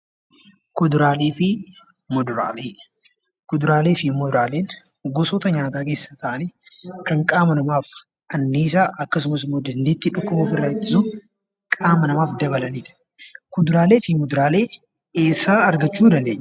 Kuduraalee fi muduraalee. Kuduraalee fi muduraaleen gosoota nyaataa keessaa ta'anii kan qaama namaaf anniisaa akkasumas immoo dandeettii dhukkuba ofirraa ittisuu qaama namaaf dabalanidha. Kuduraalee fi muduraalee eessaa argachuu dandeenya?